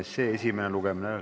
Istungi lõpp kell 17.49.